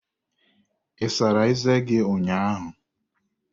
Ị sara eze gị ụnyaahụ?